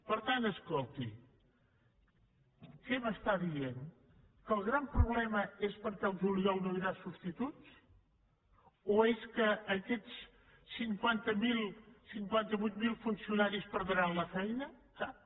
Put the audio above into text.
per tant escolti què em diu que el gran problema és perquè el juliol no hi haurà substituts o és que aquests cinquanta vuit mil funcionaris perdran la feina cap